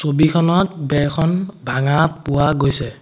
ছবিখনত বেৰখন ভাঙা পোৱা গৈছে।